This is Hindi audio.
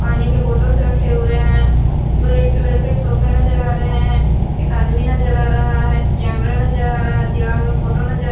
पानी के बोतल्स रखे हुए हैं रेड कलर के सोफे नजर आ रहे हैं एक आदमी नजर आ रहा है कैमरा नजर आ रहा है दीवाल में फोटो नजर--